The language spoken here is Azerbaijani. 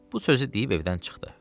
Bu sözü deyib evdən çıxdı.